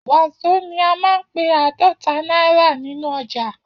Wàzó ní a man pe adota náírà nínú ọjà